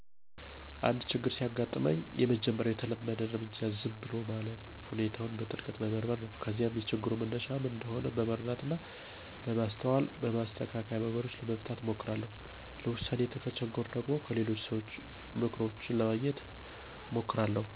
አንድ ችግር ሲያጋጥመኝ፣ የመጀመሪያው የተለመደ እርምጃዬ ዝም ብዬ ማረፍና ሁኔታውን በጥልቀት መመርመር ነው። ከዚያም የችግሩ መነሻ ምን እንደሆነ በመረዳት እና በማስተዋል በማስተካከያ መንገዶች ለመፍታት እሞክራለሁ። ለዉሳኔ ከተቸገርኩ ደግሞ፣ ከሌሎች ሰዎች ምክሮችን ለማግኘት እማክራለሁ።